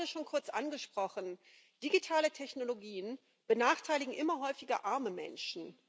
Sie haben das gerade schon kurz angesprochen Digitale Technologien benachteiligen immer häufiger arme Menschen.